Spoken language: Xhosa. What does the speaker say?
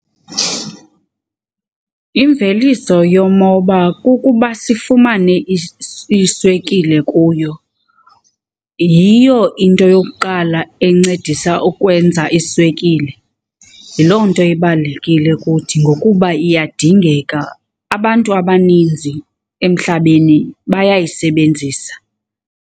Imveliso yomoba kukuba sifumane iswekile kuyo, yiyo into yokuqala encedisa ukwenza iswekile. Yiloo nto ibalulekile kuthi ngokuba iyadingeka, abantu abaninzi emhlabeni bayayisebenzisa.